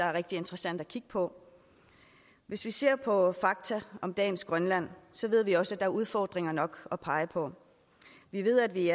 er rigtig interessant at kigge på hvis vi ser på fakta om dagens grønland ved vi også er udfordringer nok at pege på vi ved at vi